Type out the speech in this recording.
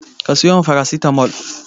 Ki sayo min farasitamol!